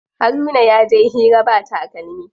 Haruna yaje hira ba takalmi.